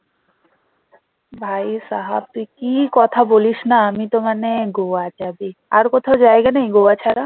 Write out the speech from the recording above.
ভাইসহাব তুই কি কথা বলিস না আমিতো মানে গোয়া যাবে আর কথা জায়গা নেই গোয়া ছাড়া?